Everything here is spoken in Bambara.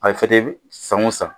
A bɛ san o san